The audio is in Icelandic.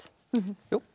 jú